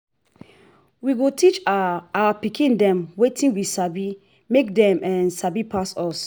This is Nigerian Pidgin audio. we go teach our our pikin dem wetin we sabi make dem um sabi pass us.